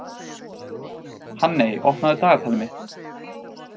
Hanney, opnaðu dagatalið mitt.